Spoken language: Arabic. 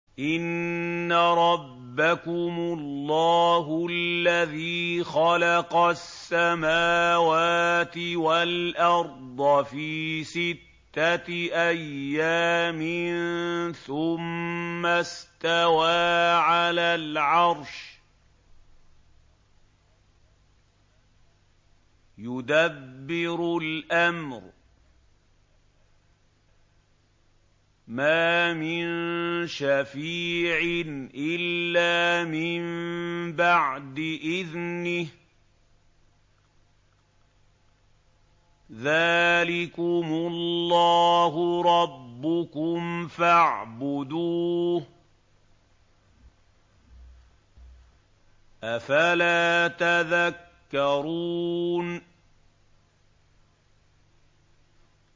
إِنَّ رَبَّكُمُ اللَّهُ الَّذِي خَلَقَ السَّمَاوَاتِ وَالْأَرْضَ فِي سِتَّةِ أَيَّامٍ ثُمَّ اسْتَوَىٰ عَلَى الْعَرْشِ ۖ يُدَبِّرُ الْأَمْرَ ۖ مَا مِن شَفِيعٍ إِلَّا مِن بَعْدِ إِذْنِهِ ۚ ذَٰلِكُمُ اللَّهُ رَبُّكُمْ فَاعْبُدُوهُ ۚ أَفَلَا تَذَكَّرُونَ